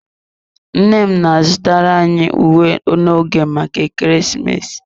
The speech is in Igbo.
Nne m na-azụtara anyị uwe n'oge maka ekeresimesi.